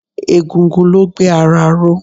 Egungun ló gbé ara ró.